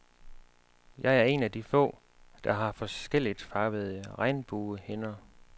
Jeg er en af de få, der har forskelligt farvede regnbuehinder.